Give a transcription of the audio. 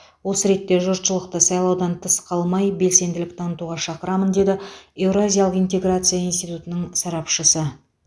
осы ретте жұртшылықты сайлаудан тыс қалмай белсенділік танытуға шақырамын деді еуразиялық интеграция институтының сарапшысы